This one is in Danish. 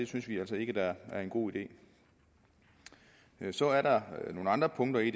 synes vi altså ikke er en god idé så er der nogle andre punkter i